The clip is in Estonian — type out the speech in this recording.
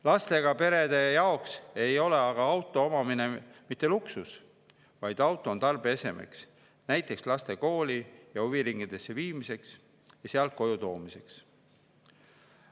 Lastega perede jaoks ei ole aga auto omamine mitte luksus, vaid auto on tarbeese näiteks laste kooli ja huviringidesse viimiseks ja sealt koju toomiseks.